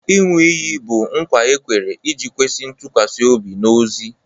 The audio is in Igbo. Ịṅụ iyi bụ nkwa e kwere iji kwesị ntụkwasị obi n'ozi